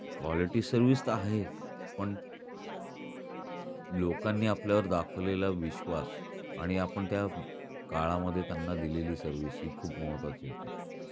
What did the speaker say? Quality service तर आहेच पण लोकांनी आपल्यावर दाखवलेला विश्वास आणि आपण त्या काळामध्ये त्यांना दिलेली सर्विस हि खूप महत्वाची होती.